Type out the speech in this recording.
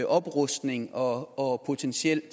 oprustning og og potentielt